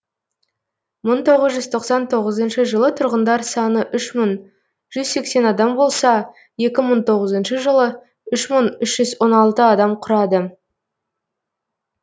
мың тоғыз жүз тоқсан тоғызыншы жылы тұрғындар саны үш мың жүз сексен адам болса екі мың тоғызыншы жылы үш мың үш жүз он алты адамды құрады